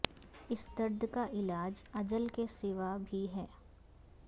اس درد کا علاج اجل کے سوا بھی ہے